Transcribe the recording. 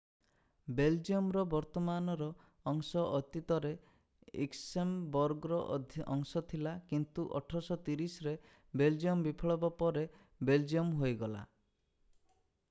ବେଲଜିୟମର ବର୍ତ୍ତମାନର ଅଂଶ ଅତୀତରେ ଲକ୍ସେମବର୍ଗର ଅଂଶ ଥିଲା କିନ୍ତୁ 1830ରେ ବେଲଜିୟମ ବିପ୍ଳବ ପରେ ବେଲଜିୟମ ହୋଇଗଲା